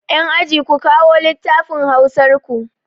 Yan aji, ku kawo lattafin hausar ku!